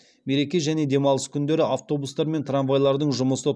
мереке және демалыс күндері автобустар мен трамвайладың жұмысы